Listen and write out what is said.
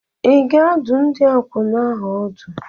Ị ga-adụ ndị akwụna ahụ ọdụ?